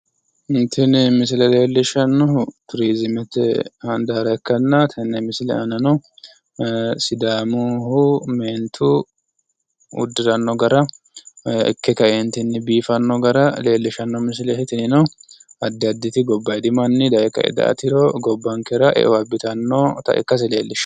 Tini misile leellishshannohu turiziimete handaara ikkanna tenne misile aanano sidaamuyihu meentu uddiranno gara ikke ka"entinni biifanno gara leellishshanno misileeti. Tinino addi additi gobbayidi manni daye ka"e daa"atiro gobbankera eo abbitannota ikkase leellishshanno.